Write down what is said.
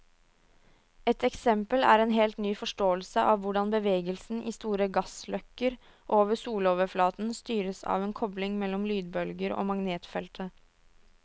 Et eksempel er en helt ny forståelse av hvordan bevegelsen i store gassløkker over soloverflaten styres av en kobling mellom lydbølger og magnetfeltet.